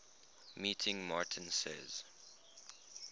meeting martin says